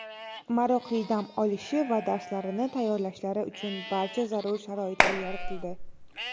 maroqli dam olishi va darslarini tayyorlashlari uchun barcha zarur sharoitlar yaratildi.